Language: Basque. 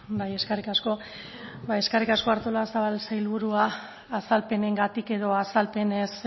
bai eskerrik asko ba eskerrik asko artolazabal sailburua azalpenengatik edo azalpenen